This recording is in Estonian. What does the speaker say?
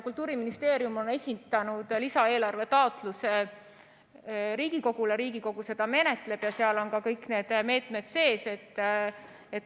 Kultuuriministeerium on esitanud lisaeelarve taotluse Riigikogule, Riigikogu seda menetleb ja seal on kõik need meetmed sees.